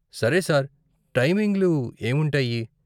సరే సార్, టైమింగ్లు ఏం ఉంటాయి?